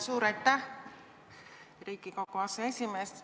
Suur aitäh, Riigikogu aseesimees!